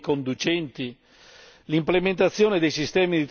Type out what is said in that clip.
possano dialogare con i mezzi e con i conducenti.